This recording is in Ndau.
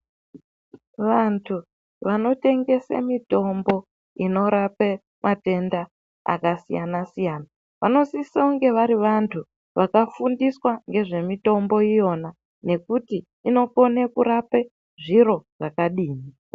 Vantu vanotengese mitombo inorape matenda akasiyana siyana vanosiso kunge vari vantu vakafundiswa ngezvemitombo iyona yekuti inokone kurape zviro zvakadini.